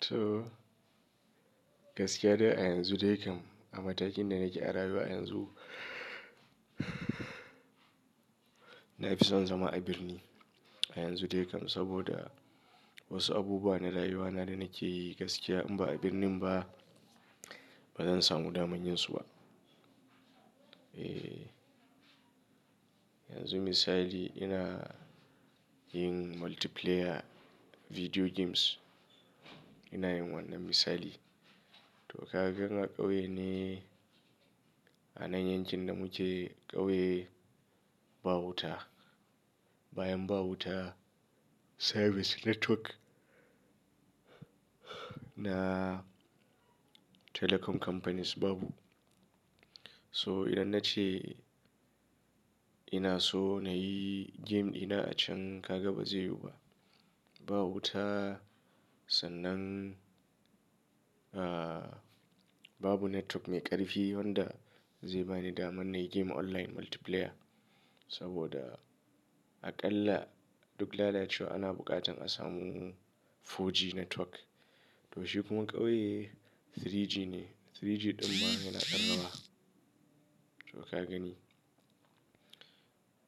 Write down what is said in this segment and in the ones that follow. To, gaskiya dai a yanzu dai kam, a matakin da nake a rayuwa yanzu, na fi son zama a birni, a yanzu dai kam. Saboda, wasu abubuwa na rayuwana da nake yi gaskiya in ba a birnin ba, bazan samu daman yinsu ba. Eh, yanzu misali ina yin multiplayer video games ina yin wannan misali. To ka ga in a ƙauye ne, a nan yankin da muke, ƙauye ba wuta. Bayan ba wuta, service network, na telecom companies babu. So idan na ce ina so na yi game ɗina a can, ka ga bazai yiwu ba. Ba wuta sannan, ah, babu network mai ƙarfi wanda zai bani damar na yi game online multiplayer. Saboda, aƙalla duk lalacewa ana buƙatar a samu 4G network. To shi kuma ƙauye 3G ne, 3G ɗin ma yana ɗan rawa. To ka gani.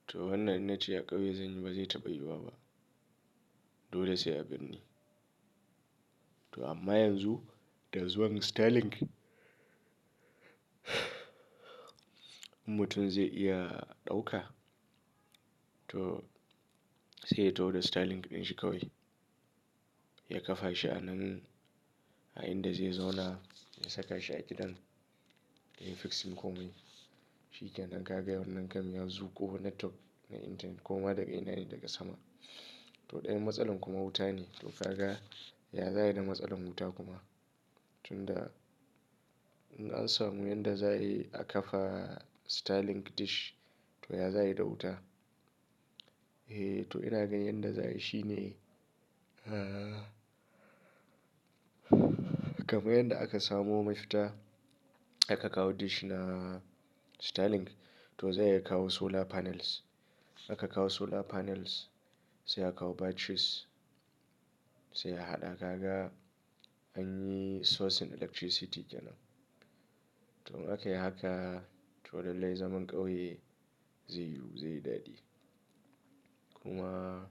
To wannan in na ce a ƙauye zan yi ba zai taɓa yiwuwa ba. Dole sai a birni. To amma yanzu da zuwan Starlink, mutum zai iya ɗauka. To, sai ya taho da Starlink ɗin shi kawai, ya kafa shi a nan, a inda zai zauna, ya saka shi a gidan, ya yi fixing komai. Shi kenan, ka ga wannan kam ya zuƙo network na intanet koma daga ina ne daga sama. To ɗayan matsalan kuma wuta ne, to ka ga, ya za'ayi da matsalan wuta kuma? Tunda in an samu inda za a yi a kafa Starlink dish to ya za yi da wuta? Eh, to ina ganin yadda za'ayi shi ne, ah, kamar yanda aka samo mafita, aka kawo dish na Starlink, to zai iya kawo solar panels, aka kawo solar panels sai a kawo batteries, sai a haɗa. Ka ga an yi source na electricity kenan. To in akayi haka, to lallai zaman ƙauye zai yiwu zai yi daɗi. Kuma,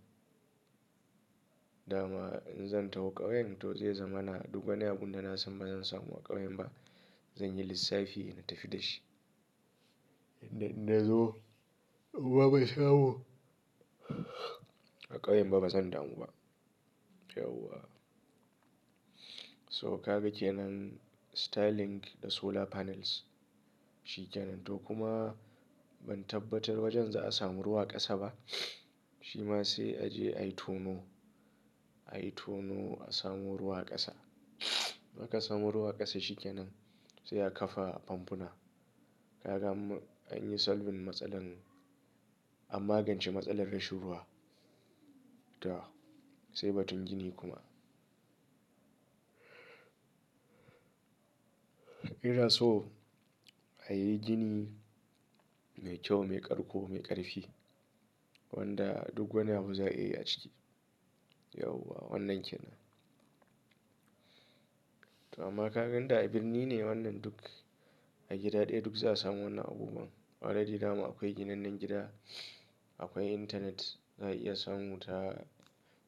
dama in zan taho ƙauyen to zai zama na duk wani abun da na san ba zan samu a ƙauyen ba, zan yi lissafi na tafi da shi. Tunda inna zo, in ma bansamu a ƙauyen ba bazan damu ba. Yauwa. So ka ga kenan Starlink da solar panels shi kenan, to kuma ban tabbatar wajen za'a samu ruwa a ƙasa ba, shi ma sai a je a yi tono, a yi tono a samo ruwa a ƙasa. In aka samu ruwa a ƙasa shi kenan sai a kafa famfuna. Ka ga an, an yi solving matsalar, an magance matsalar rashin ruwa. Tah, sai batun gini kuma. Ina so a yi gini mai kyau, mai ƙarko, mai ƙarfi, wanda duk wani abu za'a iya yi a ciki. Yauwa wannan kenan. To amma ka ga in da a birni ne wannan duk a gida ɗaya duk za'a samu wannan abubuwan. Already dama akwai ginannan gida, akwai intanet, za'a iya samu ta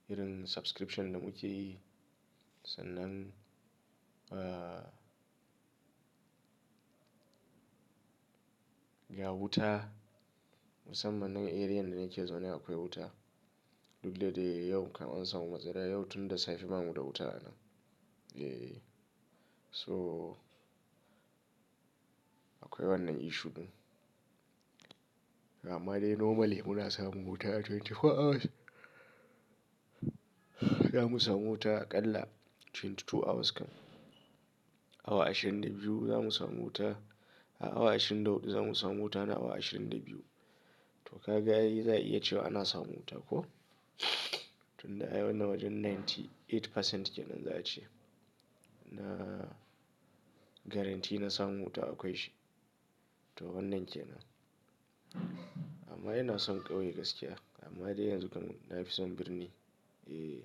irin subscription da muke yi, sannan, ah, ga wuta, musamman nan area da nake zaune akwai wuta. Duk da dai yau kam an samu matsala yau tunda safe ba mu da wuta a nan. Eh, so akwai wannan issue ɗin. Amma dai normally muna samun wuta a 24 hours, da mu samu wuta aƙalla 22 hours kam. Awa ashirin da biyu za mu samu wuta. A awa ashirin da huɗu za mu samu wuta na awa ashirin da biyu. To ka ga yayi za'a iya cewa ana samun wuta ko? Tunda ai wannan wajen 98% kenan za'a ce, na guarantee na samun wuta akwai shi. To wannan kenan. Amma ina son ƙauye gaskiya, amma dai yanzu kam na fi son birni. Eh.